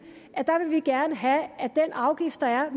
at vi gerne vil have at den afgift der er